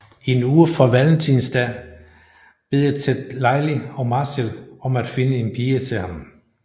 En uge fra Valentinesdag beder Ted Lily og Marshall om at finde en pige til ham